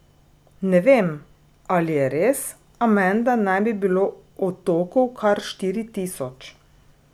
Ne vem, ali je res, a menda naj bi bilo otokov kar štiri tisoč.